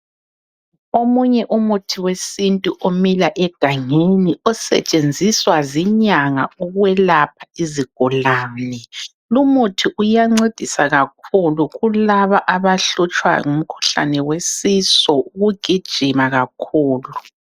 Omunye umuthi wesintu omila egangeni osetshenziswa zinyanga ukwelapha izigulane, lumuthi uyancedisa kakhulu kulaba abahlutshwa ngumkhuhlane wesisu ukugijima kakhulu.